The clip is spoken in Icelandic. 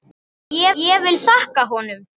Ég vil þakka honum.